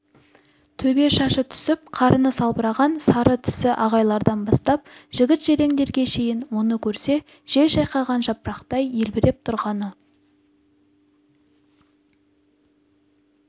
төбе шашы түсіп қарыны салбыраған сары тісі ағайлардан бастап жігіт-желеңдерге шейін мұны көрсе жел шайқаған жапырақтай елбіреп тұрғаны